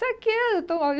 Sabe o que é?